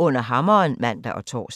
Under hammeren *(man og tor)